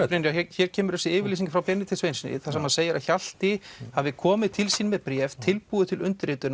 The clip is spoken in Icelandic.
hér kemur þú þessu yfirlýsing frá Benedikt Sveinssyni þar sem hann segir að Hjalti hafi komið til sín með bréf tilbúið til undirritunar